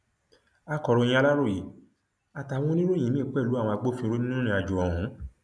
akọròyìn aláròye àtàwọn oníròyìn míín pẹlú àwọn agbófinró nínú ìrìnàjò ọhún